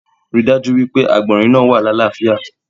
Rí dájú wípé àgbònrín náa wà lalafia